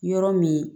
Yɔrɔ min